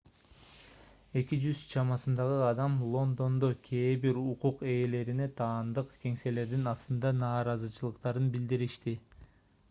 200 чамасындагы адам лондондо кээ бир укук ээлерине таандык кеңселердин астында нааразычылыктарын билдиришти